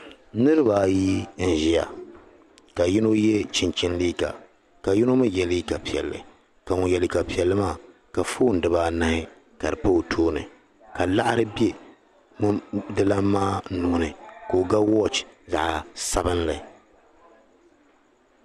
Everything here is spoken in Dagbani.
niiriba ayi n ʒia ka yino ye chinchini liiga ka yino mi ye liiga piɛlli ka ŋun ye liiga piɛlli maa ka foon diba anahi ka di pa o tooni ka laɣiri be dila maa nuu ni ka o ga wɔɔchi zaɣ' sabinlli